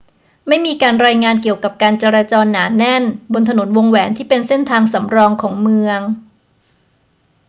ไม่มีการรายงานเกี่ยวกับการจราจรหนาแน่นบนถนนวงแหวนที่เป็นเส้นทางสำรองของเมือง